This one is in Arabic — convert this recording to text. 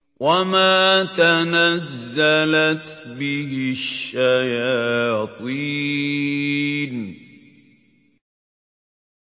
وَمَا تَنَزَّلَتْ بِهِ الشَّيَاطِينُ